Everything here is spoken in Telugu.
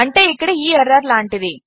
అంటే ఇక్కడ ఈ ఎర్రర్ లాంటిది